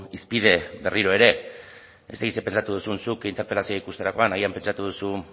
hizpide berriro ere ez dakit zer pentsatu duzun zuk interpelazioa ikusterakoan agian pentsatu duzu